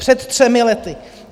Před třemi lety.